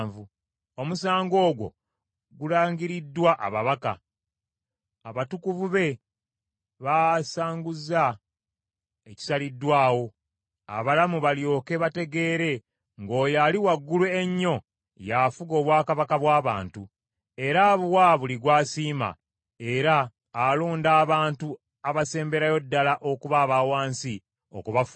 “ ‘Omusango ogwo gulangiriddwa ababaka, abatukuvu be baasanguza ekisaliddwawo, abalamu balyoke bategeere ng’Oyo Ali Waggulu Ennyo y’afuga obwakabaka bw’abantu, era abuwa buli gw’asiima, era alonda abantu abasemberayo ddala okuba aba wansi okubafuga.’